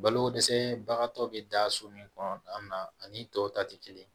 Balokodɛsɛbagatɔ bɛ da so min kɔnɔ an na ani tɔw ta tɛ kelen ye